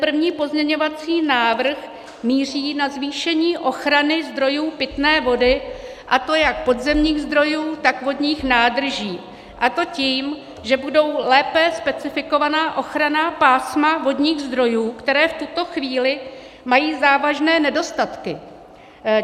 První pozměňovací návrh míří na zvýšení ochrany zdrojů pitné vody, a to jak podzemních zdrojů, tak vodních nádrží, a to tím, že budou lépe specifikována ochranná pásma vodních zdrojů, která v tuto chvíli mají závažné nedostatky.